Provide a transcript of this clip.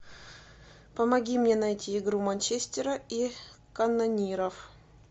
помоги мне найти игру манчестера и канониров